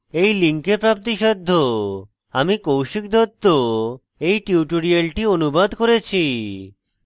আমি কৌশিক দত্ত এই টিউটোরিয়ালটি অনুবাদ করেছি